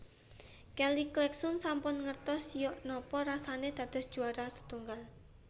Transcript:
Kelly Clarkson sampun ngertos yok nopo rasane dados juwara setunggal